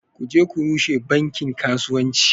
Ku je ku rushe bankin kasuwanci